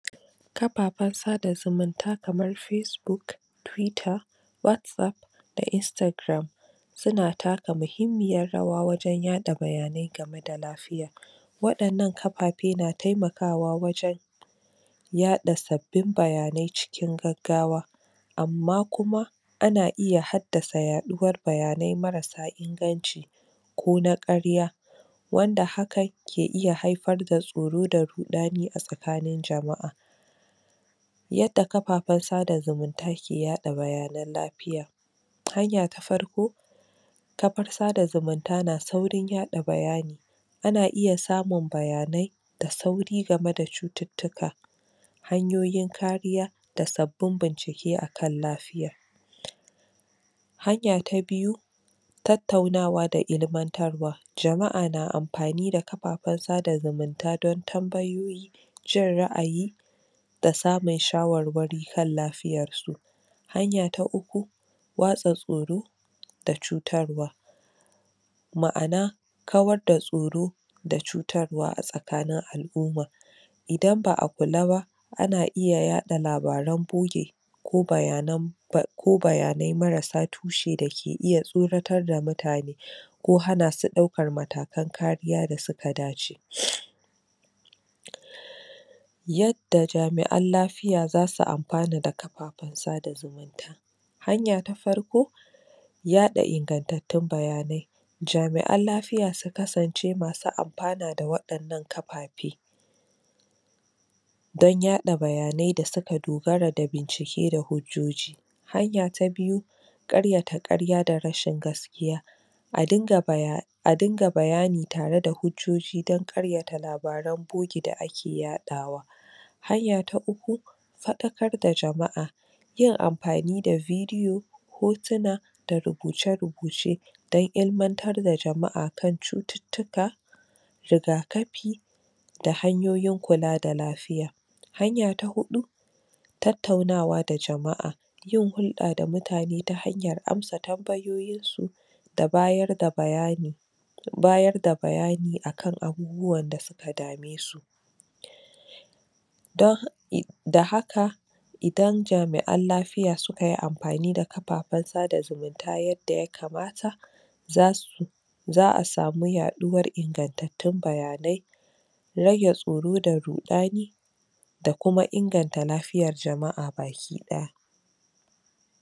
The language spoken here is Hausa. Kafaffan sada zumunta kamar facebook twitter whatsapp da instagram suna taka muhimmiyar rawa wajan yaɗa bayanai game da lafiya waƴannan kaffafe na taimakawa wajan yaɗa sabbin bayanai cikin gaggawa amma kuma ana iya haddasa yaɗuwar bayanai mara inganci ko na karya wanda haka ke iya haifar da tsoro da ruɗani a tsakanin jama'a yadda kaffafen sada zumunta ke yaɗa bayanai lafiya hanya ta farko kafun sada zumunta na saurin yaɗa bayani ana iya samun bayanai da sauri game da cuttutuka hanyoyin kariya da sabin bincike akan lafiya hanya ta biyu tattaunawa da ilimantarwa, jama'a na amfani da kaffafen sada zumunta don tambayoyi jin ra'ayi da samun shawarwari kan lafiyarsu hanya ta uku watsa tsoro da cutarwa ma'ana kawar da tsoro da cutarwa a tsakanin al'uma idan ba'a kula ba ana iya yaɗa labaran boggi ko bayanan da ko bayanai marasa tushe da ke iya tsoratar da mutane ko hanasu ɗaukar matakan kariya da suka dace yadda jami'an lafiya za su amfana da kafafen sada zumunta hanya ta farko yaɗa inganttatun bayanai jami'an lafiya su kasance masu amfana da waƴannan kaffafe da yaɗa bayanai da suka dogara da bincike da hujjoji hanya ta biyu ƙaryata ƙarya da rashin gaskiya a dinga bayani tare da hujjoji dan ƙaryata labaran boggi da ake yaɗawa hanya ta uku faɗakar da jama'a yin amfani da bidiyo hotuna da rubuce-rubuce dan ilimantar da jama'a akan cuttutuka rigakafi da hanyoyin kula da lafiya hanya ta huɗu tattaunawa da jama'a yin hulɗa da mutane ta hanyar amsa tambayoyinsu da bayar da bayani bayar da bayani akan abubuwan da suka dame su da haka idan jami'an lafiya sukayi amfani da kaffafen sada zumunta, yadda yakamata za su za'a samu yaɗuwar inganttatun bayanai rage tsoro da ruɗani da kuma inganta lafiyar jama'a baki ɗaya